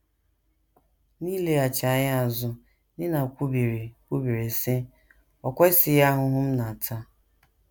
N’ileghachi anya azụ, Nina kwubiri, kwubiri, sị: “ O kwesịghị ahụhụ m na - ata!